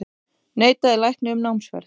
Neitaði lækni um námsferð